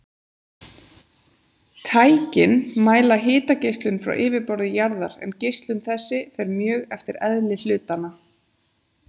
Tækin mæla hitageislun frá yfirborði jarðar, en geislun þessi fer mjög eftir eðli hlutanna.